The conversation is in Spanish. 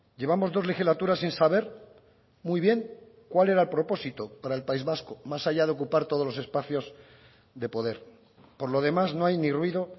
llevamos dos legislaturas sin saber muy bien cuál era el propósito para el país vasco más allá de ocupar todos los espacios de poder por lo demás no hay ni ruido